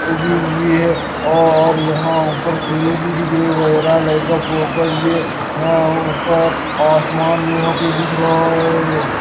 उगी हुई है और यहाँ ऊपर चिड़ी भी दिख रही वैरा लाइट का फोकस भी है यहाँ ऊपर आसमान यहाँ पे दिख रहा है।